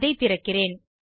அதை திறக்கிறேன்